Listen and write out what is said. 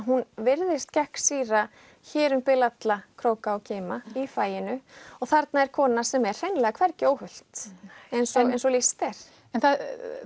hún virðist gegnsýra hér um bil alla króka og kima í faginu og þarna er kona sem er hreinlega hvergi óhult eins og eins og lýst er það